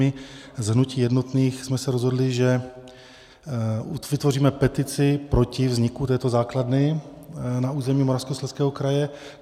My z hnutí Jednotných jsme se rozhodli, že vytvoříme petici proti vzniku této základny na území Moravskoslezského kraje.